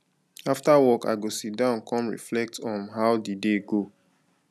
after work i go sit down come reflect on um how the day go